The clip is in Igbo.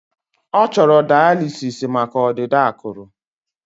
Ọ chọrọ daalisịs maka ọdịda akụrụ